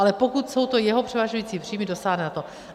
Ale pokud jsou to jeho převažující příjmy, dosáhne na to.